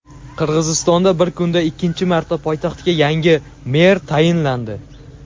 Qirg‘izistonda bir kunda ikkinchi marta poytaxtga yangi mer tayinlandi.